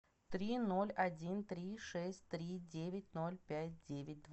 три ноль один три шесть три девять ноль пять девять